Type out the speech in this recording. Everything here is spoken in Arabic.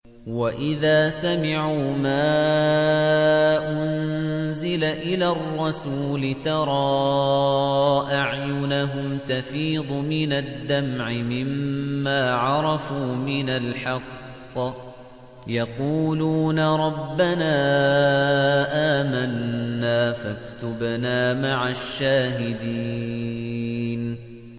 وَإِذَا سَمِعُوا مَا أُنزِلَ إِلَى الرَّسُولِ تَرَىٰ أَعْيُنَهُمْ تَفِيضُ مِنَ الدَّمْعِ مِمَّا عَرَفُوا مِنَ الْحَقِّ ۖ يَقُولُونَ رَبَّنَا آمَنَّا فَاكْتُبْنَا مَعَ الشَّاهِدِينَ